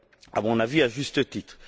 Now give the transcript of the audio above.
à mon avis, à juste titre.